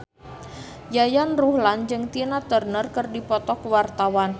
Yayan Ruhlan jeung Tina Turner keur dipoto ku wartawan